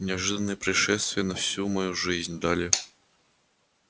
неожиданные происшествия на всю мою жизнь дали